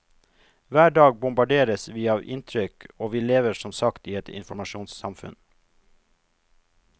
Hver dag bombarderes vi av inntrykk og vi lever som sagt i et informasjonssamfunn.